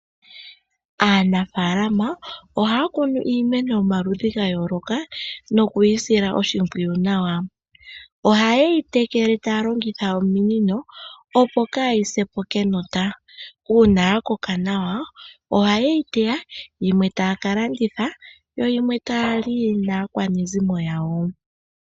Aanafaalama ohaya kunu iimeno yomaludhi ga yooloka noku yi sila oshimpwiyu nawa. Oha yeyi tekele taya longitha ominino opo kaayi sepo kenota. Uuna ya koka nawa, oha yeyi teya yimwe taya ka landitha, yo yimwe taya li naakwanezimo yawo.